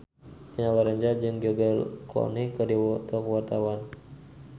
Dina Lorenza jeung George Clooney keur dipoto ku wartawan